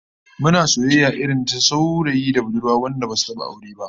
Muna soyayya irin ta saurayi da budurwa wanda basu taba aure ba